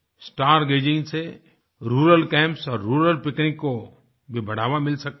star gazing से rural camps और rural picnic को भी बढ़ावा मिल सकता है